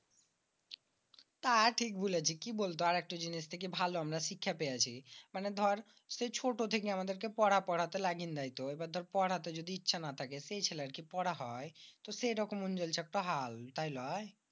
তা ঠিক বলিছিস। কি বলত আর একটা জিনিস থেকে ভালো আমরা শিক্ষা পেয়েছি। মানি দর সেই ছোট থেকে আমাদের পড়া পড়া তে লাগিছে। পড়াতে যদি ইচ্ছে না থাকে দর সে ছেলের কি পড়া হয়? সেই বকম শত্য হাল তাই লয়?